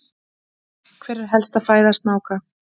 Hver er helsta fæða snáka?